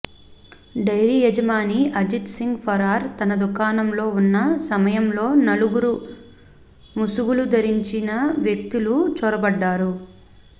dairy యజమాని అజిత్ సింగ్ ఫరార్ తన దుకాణంలో ఉన్న సమయంలో నలుగురు ముసుగులు ధరించిన వ్యక్తులు చొరబడ్డారు